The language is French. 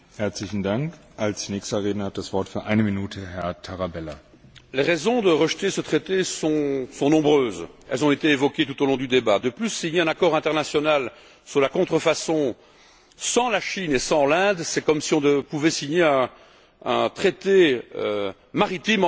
Monsieur le Président, les raisons de rejeter ce traité sont nombreuses et ont été évoquées tout au long du débat. De plus, s'il y a un accord international sur la contrefaçon sans la Chine et sans l'Inde, c'est comme si on pouvait signer un traité maritime entre des pays qui n'ont aucun accès à la mer.